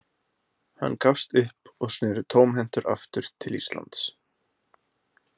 Hann gafst upp og sneri tómhentur aftur til Íslands.